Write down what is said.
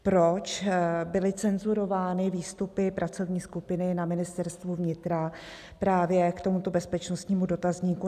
Proč byly cenzurovány výstupy pracovní skupiny na Ministerstvu vnitra právě k tomuto bezpečnostnímu dotazníku?